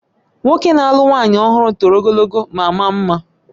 Nwoke na-alụ nwanyị ọhụrụ toro ogologo ma maa mma